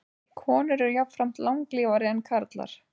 Konur eru jafnframt langlífari en karlar.